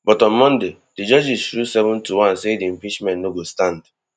but on monday di judges rule seven to one say di impeachment no go stand